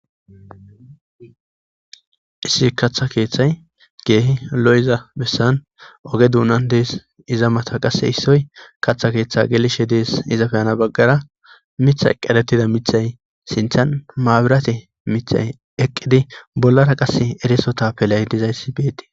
issi kaththa keeththay keehi lo7iza bessan oge duunan dees iza mata qasse issoy kaththa keeththe geelishe dees izape ana baggara mithay qerettida mithay sinthan maabirate mithay eqqidi bollara qasse eriso tapelay dizayssi beetti